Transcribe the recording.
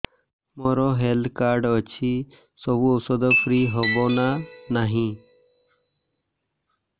ମୋର health card ଅଛି ସବୁ ଔଷଧ ଫ୍ରି ହବ ନା ନାହିଁ